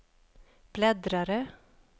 bläddrare